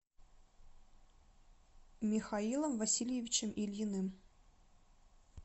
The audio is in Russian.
михаилом васильевичем ильиным